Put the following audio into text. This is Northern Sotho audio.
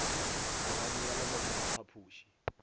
polane ya lebato la phapuši